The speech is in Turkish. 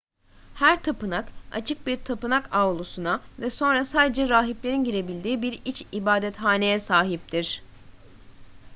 her tapınak açık bir tapınak avlusuna ve sonra sadece rahiplerin girebildiği bir iç ibadethaneye sahiptir